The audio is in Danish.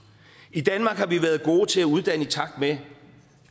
i danmark har vi været gode til at uddanne i takt med